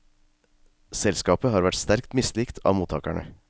Selskapet har vært sterkt mislikt av mottagerne.